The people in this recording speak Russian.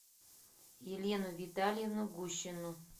елену витальевну гущину